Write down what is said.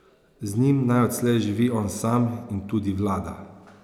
Z njim naj odslej živi on sam in tudi vlada.